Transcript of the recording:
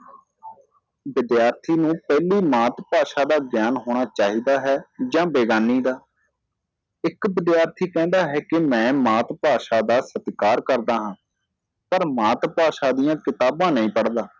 ਵਿਦਿਆਰਥੀ ਨੂੰ ਪਹਿਲੀ ਮਾਤ ਭਾਸ਼ਾ ਦਾ ਗਿਆਨ ਹੋਣਾ ਚਾਹੀਦਾ ਹੈ ਜਾਂ ਬੇਗਾਨੀ ਦਾ ਇੱਕ ਵਿਦਿਆਰਥੀ ਕਹਿੰਦਾ ਹੈ ਕਿ ਮੈਂ ਮਾਤ ਭਾਸ਼ਾ ਦਾ ਸਤਿਕਾਰ ਕਰਦਾ ਹਾਂ ਪਰ ਮਾਤ ਭਾਸ਼ਾ ਦੀਆ ਕਿਤਾਬਾਂ ਨਹੀ ਪੜਦਾ